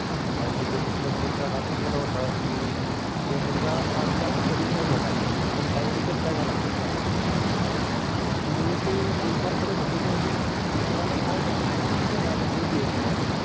कारण की तो मित्र पण इतका घाबरून गेला होता की तो मुलगा आधी असं कधीच नाही झालापण यावेळी कसा काय झाला तो? तर मग मी ते विचार करत होतो की म्हणजे मित्रा ला काय झालं होतं? त्याने अजून पण clear केलं नाही.